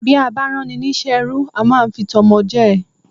Bí a bá rán ni ní iṣẹ́ ẹrú, a máá ń fi tọmọ jẹ́ ẹ